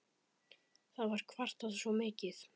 Það var kvartað svo mikið.